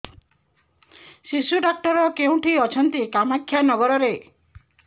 ଶିଶୁ ଡକ୍ଟର କୋଉଠି ଅଛନ୍ତି କାମାକ୍ଷାନଗରରେ